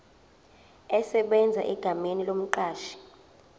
esebenza egameni lomqashi